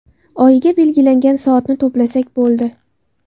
Oyiga belgilangan soatni to‘plasak bo‘ldi.